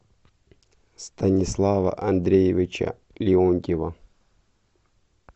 станислава андреевича леонтьева